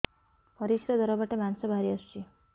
ପରିଶ୍ରା ଦ୍ୱାର ବାଟେ ମାଂସ ବାହାରି ଆସୁଛି